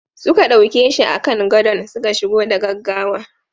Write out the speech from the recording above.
Suka dauke shi a kan gadon suka shigo da gaggawa.